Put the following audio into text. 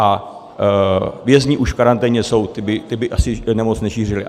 A vězni už v karanténě jsou, ti by asi nemoc nešířili.